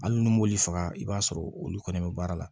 Hali ni m'oli faga i b'a sɔrɔ olu kɔni bɛ baara la